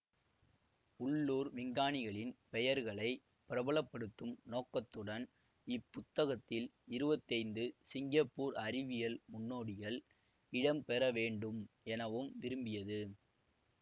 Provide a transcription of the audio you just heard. உள்ளூர் விஞ்ஞானிகளின் பெயர்களை பிரபலப்படுத்தும் நோக்கத்துடன் இப்புத்தகத்தில் இருவத்தி ஐந்து சிங்கப்பூர் அறிவியல் முன்னோடிகள் இடம்பெற வேண்டும் எனவும் விரும்பியது